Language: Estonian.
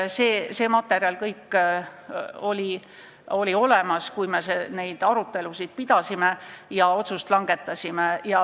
Nii et see materjal oli kõik olemas, kui me neid arutelusid pidasime ja otsust langetasime.